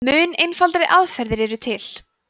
mun einfaldari aðferðir eru til